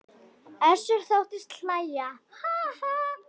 Össur þóttist hlæja:- Ha ha.